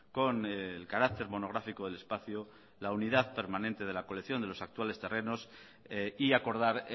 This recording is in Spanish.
con el carácter monográfico del espacio la unidad permanente de la colección de los actuales terrenos y acordar